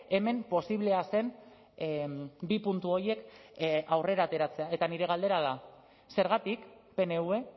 hemen posiblea zen bi puntu horiek aurrera ateratzea eta nire galdera da zergatik pnv